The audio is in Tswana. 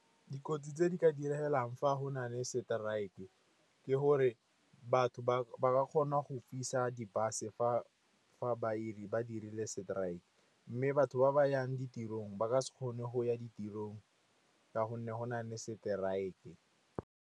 Dikotsi tse di ka diragalang fa go na le strike-e ke gore batho ba kgona go fisa di-bus fa badiri ba dirile strike, mme batho ba ba yang ditirong ba ka se kgone go ya ditirong ka gonne go na le strike-e.